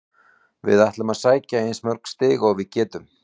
Við ætlum að sækja eins mörg stig og við getum.